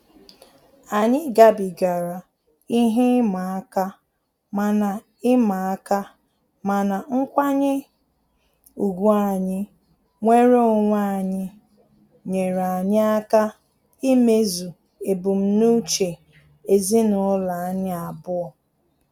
Anyị gabigara ihe ịma aka, mana ịma aka, mana nkwanye ùgwù anyị nwere onwe anyị nyere anyị aka imezu ebumnuche ezinụlọ anyi abụọ